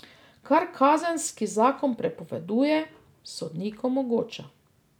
Kar kazenski zakon prepoveduje, sodnik omogoča.